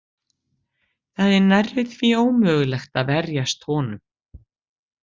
Það er nærri því ómögulegt að verjast honum.